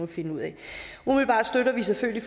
finde ud af umiddelbart støtter vi selvfølgelig